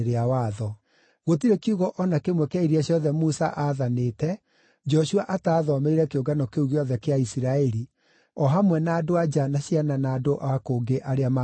Gũtirĩ kiugo o na kĩmwe kĩa iria ciothe Musa aathanĩte Joshua ataathomeire kĩũngano kĩu gĩothe kĩa Isiraeli, o hamwe na andũ-a-nja na ciana na andũ o kũngĩ arĩa maatũũranagia nao.